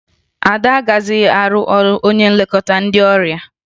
Ada agaghịzị arụ ọrụ onye nlekọta ndị ọrịa